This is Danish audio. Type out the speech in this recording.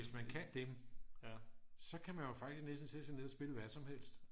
hvis man kan dem så kan man jo faktisk næsten sætte sig ned og spille hvad som helst